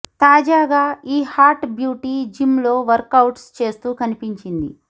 తాజాగా ఈ hot beauty gym workouts అవుట్స్ చేస్తూ కనిపించింది